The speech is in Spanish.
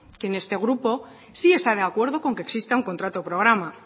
que este grupo sí está de acuerdo con que exista un contrato programa